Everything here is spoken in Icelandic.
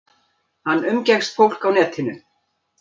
Hann umgekkst fólk á netinu.